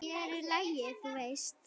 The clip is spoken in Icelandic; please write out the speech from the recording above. Hér er lagið, þú veist!